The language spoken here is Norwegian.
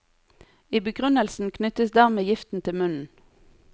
I begrunnelsen knyttes dermed giften til munnen.